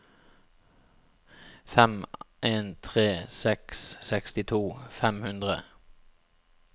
fem en tre seks sekstito fem hundre